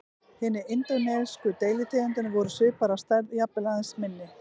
Hinar indónesísku deilitegundirnar voru svipaðar að stærð, jafnvel aðeins minni.